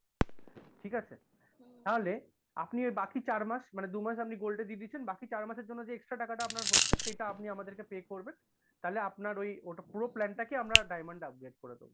ঠিক আছে? তাহলে আপনি এই বাকি চার মাস মানে দু'মাস আপনি gold এ দিয়ে দিয়েছেন বাকি চারমাসের জন্য যে extra টাকাটা আপনার হচ্ছে সেটা আপনি আমাদেরকে pay করবেন তাহলে আপনার ওই ওটা পুরো plan টাকে আমরা diamond এ upgrade করে দেব।